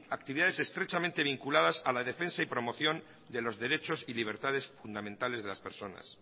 actividades estrechamente vinculadas a la defensa y promoción de los derechos y libertades fundamentales de las personas